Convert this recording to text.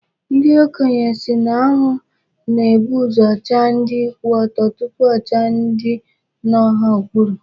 Ndị okenye sị na anwụ na-ebu uzo chaa ndị kwụ ọtọ tupu ọ chaa ndị nọ ha n'okpuru.